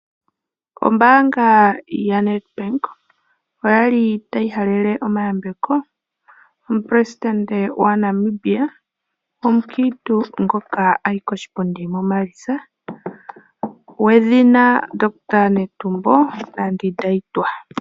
Ombaanga yaNedbank oyali tayi halele omayambeko omuleli gwaNamibia omukiintu ngoka ayi koshipundi muMaalitsa gwedhina omundohotola Netumbo Nandi-Ndaitwah.